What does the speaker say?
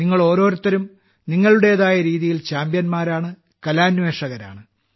നിങ്ങളോരോരുത്തരും നിങ്ങളുടേതായ രീതിയിൽ ചാമ്പ്യന്മാരാണ് കലാന്വേഷകരാണ്